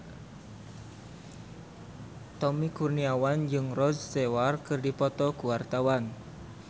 Tommy Kurniawan jeung Rod Stewart keur dipoto ku wartawan